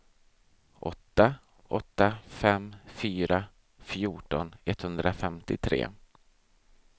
åtta åtta fem fyra fjorton etthundrafemtiotre